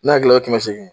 Ne hakili la kɛmɛ seegin